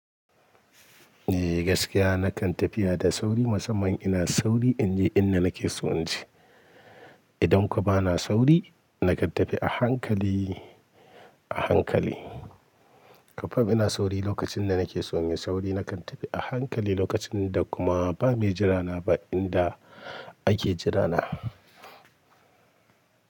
Eh gaskiya nakan tafiya da sauri musamman ina sauri in je inda nake so in je. Idanko bana sauri nakan tafi a hankali, a hankali. Kafa ina sauri lokacin da nake so in yi sauri nakan tafi a hankali lokacin da kuma ba mai jira na ba inda ake jira na.